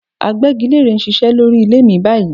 Agbẹ́gilérè ń ṣiṣẹ́ lórí ilé mi báyìí